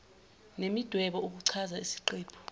nemidwebo ukuchaza isiqephu